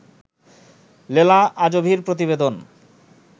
লেলা আজোভির প্রতিবেদন